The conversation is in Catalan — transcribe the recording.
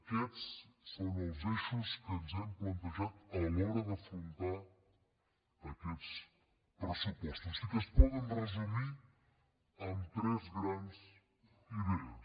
aquests són els eixos que ens hem plantejat a l’hora d’afrontar aquests pressupostos i que es poden resumir en tres grans idees